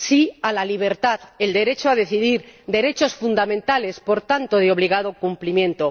sí a la libertad, el derecho a decidir, derechos fundamentales, por tanto, de obligado cumplimiento.